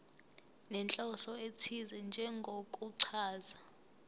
nenhloso ethize njengokuchaza